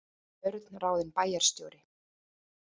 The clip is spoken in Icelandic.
Björn ráðinn bæjarstjóri